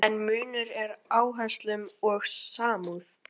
En munur er á áherslum og samúð.